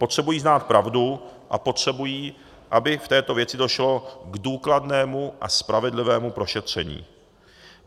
Potřebují znát pravdu a potřebují, aby v této věci došlo k důkladnému a spravedlivému prošetření.